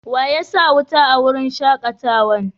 Wa ya sa wuta a wurin shakatawan?